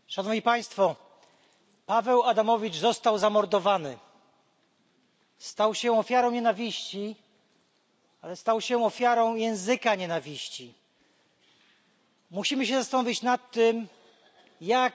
Panie Przewodniczący! Szanowni Państwo! Paweł Adamowicz został zamordowany. Stał się ofiarą nienawiści, ale stał się też ofiarą języka nienawiści. Musimy zastanowić się nad tym, jak